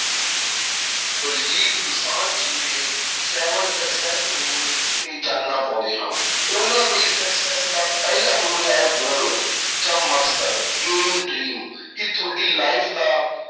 ਦਲਜੀਤ ਦੋਸਾਂਝ ਜੀ ਦੇ seven success rule ਤੇ ਚਾਨਣਾ ਪਾਉਂਦੇ ਹਾਂ ਉਹਨਾਂ ਲਈ success ਦਾ ਪਹਿਲਾਂ rule ਹੈ goal ਜਾਂ ਮਕਸਦ aim dream ਕਿ ਤੁਹਾਡੀ life ਦਾ